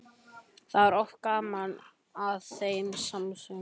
Það var oft gaman að þeim samsöng.